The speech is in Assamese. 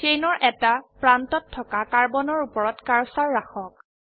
চেইনৰ এটা প্ৰান্তত থকা কাৰ্বনৰ উপৰত কাৰ্সাৰ ৰাখক